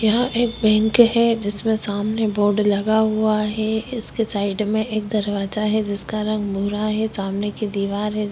यहाँ पर एक बैंक है जिसके सामने बोर्ड लगा हुआ है इसके साइड में दरवाजा है जिसका रंग भूरा है सामने की दीवार है।